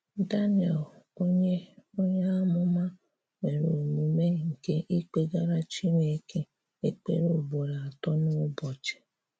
DANIEL, onyé onyé amụ́ma, nwerè omumè nke ikpegarà Chinekè ekperé ugborò atọ n’ụ̀bọchị.